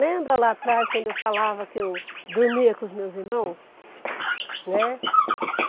Lembra lá atrás quando eu falava que eu dormia com os meus irmãos? Né